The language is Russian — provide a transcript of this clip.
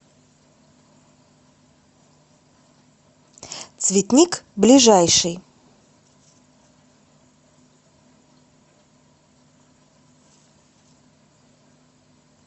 цветник ближайший